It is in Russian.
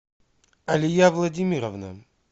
алия владимировна